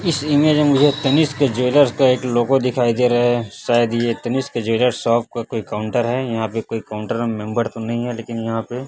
इस इमेज में मुझे तनिष्क ज्वेलर्स का एक लोगों दिखाई दे रहा है शायद ये तनिष्क ज्वेलर्स शॉप का कोई काउंटर है यहाँ पे कोई काउंटर का मेंबर तो नहीं है लेकिन यहाँ पे --